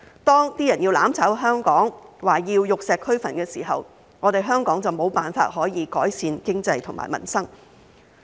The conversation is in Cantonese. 當有人要"攬炒"香港，說要玉石俱焚的時候，香港就無法改善經濟和民生。